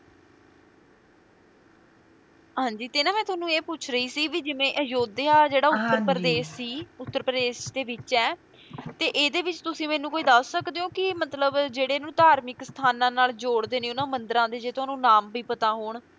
ਹਾਂਜੀ ਤੇ ਮੈਂ ਨਾ ਤੁਹਾਨੂੰ ਪੁੱਛ ਰਹੀ ਸੀ ਵੀ ਜਿਵੇਂ ਅਯੋਧਿਆ ਜਿਹੜਾ ਉੱਤਰ ਪ੍ਰਦੇਸ਼ ਸੀ ਉੱਤਰ ਪ੍ਰਦੇਸ਼ ਦੇ ਵਿੱਚ ਹੈ, ਤੇ ਇਹਦੇ ਵਿੱਚ ਤੁਸੀ ਮੈਨੂੰ ਕੋਈ ਦੱਸ ਸਕਦੇ ਹੋ ਕੀ ਮਤਲਬ ਜਿਹੜੇ ਇਹਨੂੰ ਧਾਰਮਿਕ ਸਥਾਨਾਂ ਨਾਲ ਜੋੜਦੇ ਨੇ ਉਹਨਾਂ ਮੰਦਿਰਾਂ ਦੇ ਜੇ ਤੁਹਾਨੂੰ ਨਾਮ ਵੀ ਪਤਾ ਹੋਣ